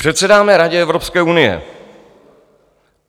Předsedáme Radě Evropské unie.